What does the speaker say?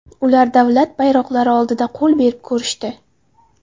Ular davlat bayroqlari oldida qo‘l berib ko‘rishdi.